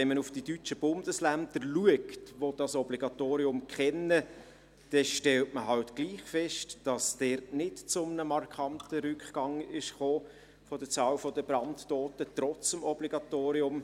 Wenn man aber auf die deutschen Bundesländer schaut, die dieses Obligatorium kennen, stellt man fest, dass es nicht zu einem markanten Rückgang der Anzahl Brandtoter gekommen ist.